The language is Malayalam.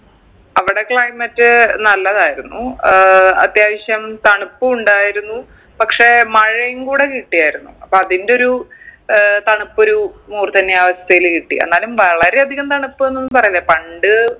അവിടെ climate നല്ലതായിരുന്നു ഏർ അത്യാവശ്യം തണുപ്പു ഉണ്ടായിരുന്നു പക്ഷെ മഴയും കൂടെ കിട്ടിയാർന്നു അപ്പൊ അതിന്റൊരു ഏർ തണുപ്പൊരു മൂർദ്ധന്യാവസ്ഥയില് കിട്ടി എന്നാലും വളരെ അധികം തണുപ്പ് എന്നൊന്നും പറയില്ല പണ്ട്